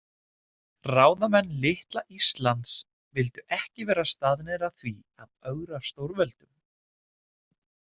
Ráðamenn litla Íslands vildu ekki vera staðnir að því að ögra stórveldum.